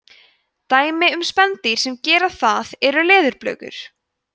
dæmi um spendýr sem gera það eru leðurblökur